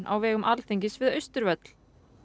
á vegum Alþingis við Austurvöll